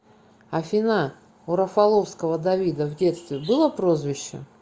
афина у рафаловского давида в детстве было прозвище